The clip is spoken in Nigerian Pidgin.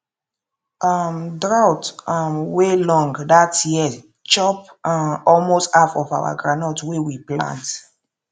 um drought um wey long that year chop um almost half of our groundnut wey we plant